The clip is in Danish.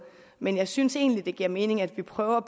men jeg synes egentlig det giver mening at vi prøver